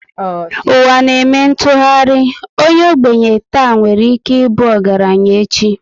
Ụwa na eme ntụgharị, onye ogbenye tà nwere ike ịbụ ọgaranya echi